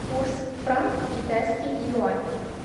курс франк китайский юань